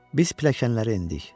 Biz pilləkənləri endik.